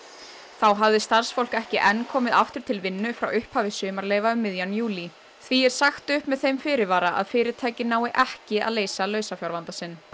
þá hafði starfsfólk ekki enn komið aftur til vinnu frá upphafi sumarleyfa um miðjan júlí því er sagt upp með þeim fyrirvara að fyrirtækið nái ekki að leysa lausafjárvanda sinn